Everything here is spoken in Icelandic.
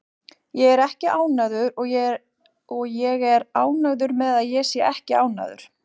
Ég er ekki ánægður og ég er ánægður með að ég sé ekki ánægður.